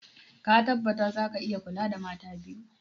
Ka tabbatar za ka iya kula da mata biyu?